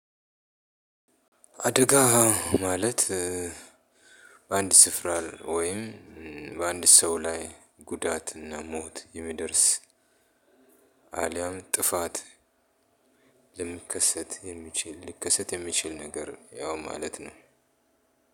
አደጋ ማለት በአንድ ስፍራ ወይም በአንድ ሰው ላይ ጉዳትና ሞት የሚደርስ አልያም ጥፋት የሚከሰት የሚችል ልከሰት የሚችል ነገር ያው ማለት ነው።